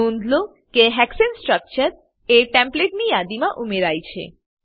નોંધ લો કે હેક્સાને સ્ટ્રક્ચર એ ટેમ્પ્લેટની યાદી માં ઉમેરાયું છે